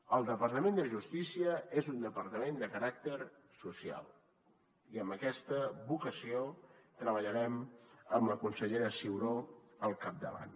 el departament de justícia és un departament de caràcter social i amb aquesta vocació treballarem amb la consellera ciuró al capdavant